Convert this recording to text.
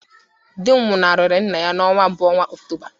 Di m nwụnahụrụ nna ya n’ọnwa mbụ n’ọnwa Ọktoba